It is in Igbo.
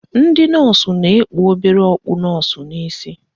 Ndị nọọsụ na-ekpu obere okpu nọọsụ n'isi